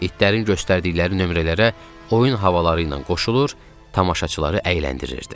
İtlərin göstərdikləri nömrələrə oyun havaları ilə qoşulur, tamaşaçıları əyləndirirdi.